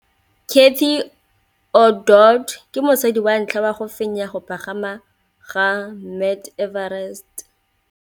Cathy Odowd ke mosadi wa ntlha wa go fenya go pagama ga Mt Everest.